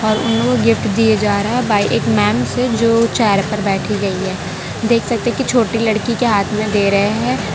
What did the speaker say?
और उन लोगो को गिफ्ट दिए जा रहा बाय एक मैम से जो चेयर पर बैठी गई है देख सकते की छोटी लड़की के हाथ में दे रहे हैं।